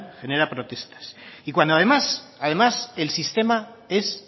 genera protestas y cuando además además el sistema es